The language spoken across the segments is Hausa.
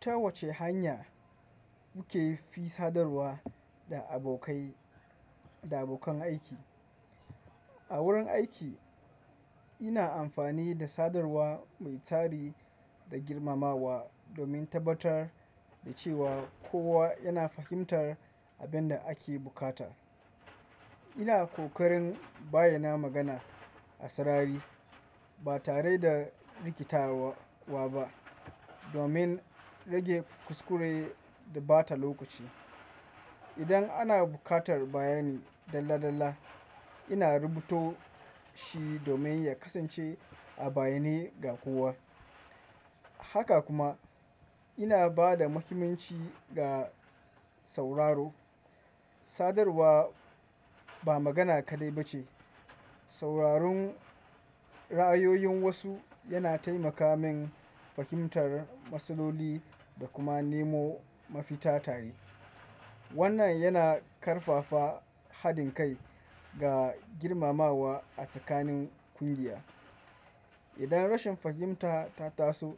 Ta wace hanya muke fi sadarwa da abokai da abokan aiki? A wurin aiki ina amfani da sadarwa mai tsari da girmamawa domin tabbatar da cewa kowa yana fahimtar abin da ake buƙata. Ina ƙoƙarin bayyana magana a sarari ba tare da rikitawa wa ba domin rage kuskure da ɓata lokaci. Idan ana buƙatar bayani dalla dalla, ina rubuto shi domin ya kasance a bayyane ga kowa. Haka kuma ina ba da mahimmanci ga sauraro. Sadarwa ba magana kaɗai ba ce. Sauraron ra'ayoyin wasu yana taimaka min fahimtar matsaloli da kuma nemo mafita tare. Wannan yana ƙarfafa haɗin kai ga girmamawa a tsakanin ƙungiya. Idan rashin fahimta ta taso,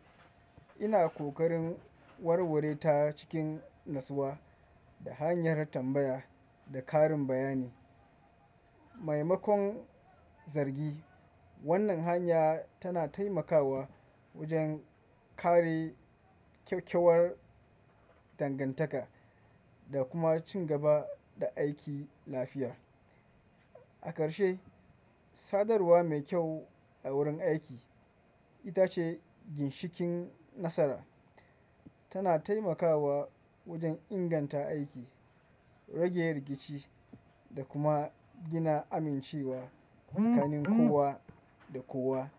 ina ƙoƙarin warware ta cikin natsuwa da hanyar tambaya da ƙarin bayani. Mai makon zargi wannan hanya tana taimakawa wajen kare kyawkyawar dangantaka da kuma cin gaba da aiki lafiya. A ƙarshe, sadarwa mai kyau a wurin aiki ita ce ginshiƙin nasara. Tana taimakawa wajen inganta aiki, rage rikici da kuma gina amincewa tsakanin kowa da kowa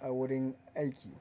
a wurin aiki.